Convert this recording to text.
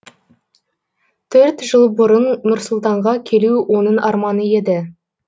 төрт жыл бұрын нұр сұлтанға келу оның арманы еді